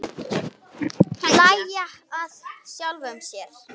Hlæja að sjálfum sér.